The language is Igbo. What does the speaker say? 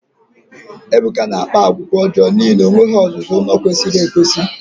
Ebuka na-akpa àgwà ọjọọ n'ihi na o nweghị ọzụzụ ụlọ kwesịrị ekwesị.